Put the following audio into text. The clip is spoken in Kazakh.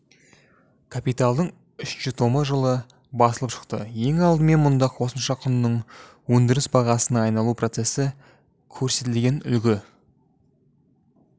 капиталдың үшінші томы жылы басылып шықты ең алдымен мұнда қосымша құнның өндіріс бағасына айналу процесі көрсетілген үлгі